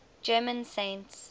german saints